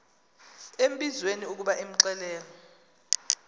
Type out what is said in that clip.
embizweni ukuba imxelele